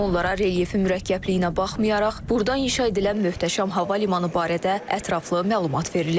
Onlara relyefin mürəkkəbliyinə baxmayaraq, buradan inşa edilən möhtəşəm hava limanı barədə ətraflı məlumat verilib.